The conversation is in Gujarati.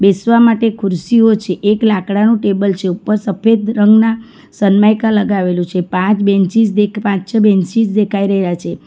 બેસવા માટે ખુરશીઓ છે એક લાકડાનું ટેબલ છે ઉપર સફેદ રંગના સન્માઈકા લગાવેલું છે પાંચ બેન્ચીસ દેખ પાંચ છ બેંચીશ દેખાઈ રહ્યા છે.